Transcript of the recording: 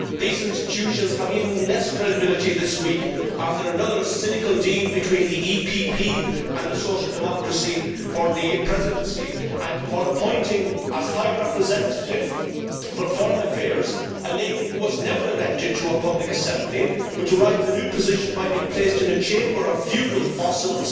These institutions have even less credibility this week after another cynical deal between the EPP and the Social Democrats for the Presidency, and for appointing as High Representative for Foreign Affairs a lady who was never elected to a public assembly but derived the new position by being placed in a chamber of feudal fossils,